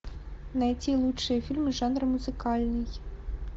найти лучшие фильмы жанра музыкальный